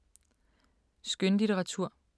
Skønlitteratur